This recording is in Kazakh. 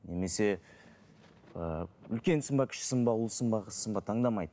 немесе ііі үлкенсің бе кішісің бе ұлсың ба қызсың ба таңдамайды